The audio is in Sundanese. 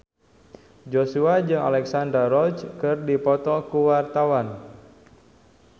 Joshua jeung Alexandra Roach keur dipoto ku wartawan